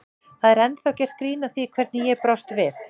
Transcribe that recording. Það er ennþá gert grín að því hvernig ég brást við.